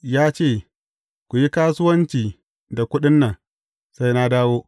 Ya ce, Ku yi kasuwanci da kuɗin nan, sai na dawo.’